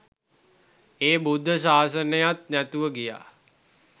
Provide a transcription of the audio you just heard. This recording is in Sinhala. ඒ බුද්ධ ශාසනයත් නැතුව ගියා